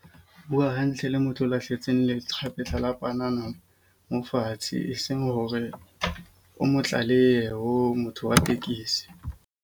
Bua hantle le motho o lahletseng lekgapetla la panana mo fatshe eseng hore o mo tlalehe ho motho wa tekesi.